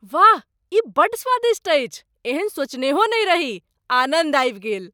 वाह! ई बड़ स्वादिष्ट अछि, एहन सोचनेहो नहि रही। आनन्द आबि गेल।